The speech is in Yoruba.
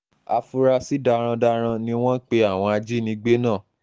áfúrásì darandaran ni wọ́n pe àwọn ajínigbé náà